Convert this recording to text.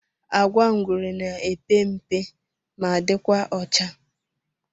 Agwa ngwere na epe mpe ma dikwa ọcha.